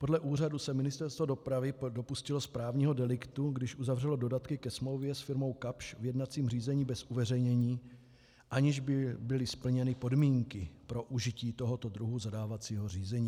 Podle úřadu se Ministerstvo dopravy dopustilo správního deliktu, když uzavřelo dodatky ke smlouvě s firmou Kapsch v jednacím řízení bez uveřejnění, aniž by byly splněny podmínky pro užití tohoto druhu zadávacího řízení.